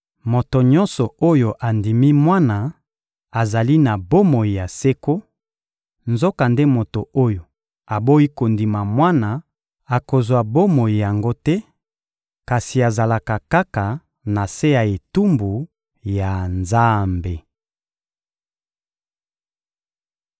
Moto nyonso oyo andimi Mwana azali na bomoi ya seko; nzokande moto oyo aboyi kondima Mwana akozwa bomoi yango te, kasi azalaka kaka na se ya etumbu ya Nzambe.